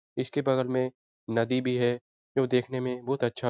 इसके बगल में नदी भी है जो देखने में बहुत अच्छा --